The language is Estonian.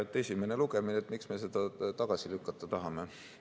Esimene lugemine, miks me selle tagasi lükata tahame?